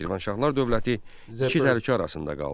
Şirvanşahlar dövləti iki təhlükə arasında qaldı.